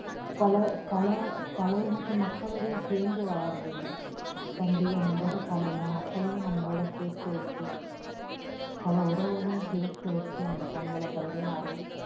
பல பல பல இனத்து மக்களோடையும் சேர்ந்து வாழுறதுங்க பண்டிகைன்னும் போது பலவித மக்களையும் நம்மளோட சேர்த்து வெச்சு பல உறவுகளையும் சேர்த்து வச்சு அந்த பொங்கலை பரிமாறி